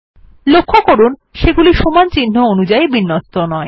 লক্ষ্য করুন সেগুলি সমান চিহ্ন অনুযায়ী বিন্যস্ত নয়